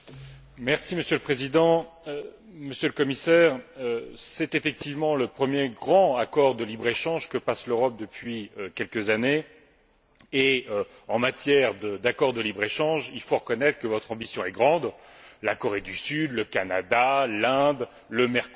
Monsieur le Président, Monsieur le Commissaire, c'est effectivement le premier grand accord de libre échange que passe l'Europe depuis quelques années et, en matière d'accord de libre échange, il faut reconnaître que votre ambition est grande, la Corée du Sud, le Canada, l'Inde, le Mercosur.